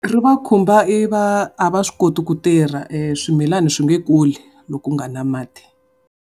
Ri va khumba i va a va swi koti ku tirha swimilani swi nge kuli loko ku nga ri na mati.